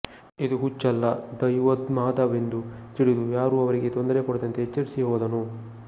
ಇದು ಹುಚ್ಚಲ್ಲ ದೈವೋನ್ಮಾದವೆಂದು ತಿಳಿದು ಯಾರೂ ಅವರಿಗೆ ತೊಂದರೆ ಕೊಡದಂತೆ ಎಚ್ಚರಿಸಿ ಹೋದನು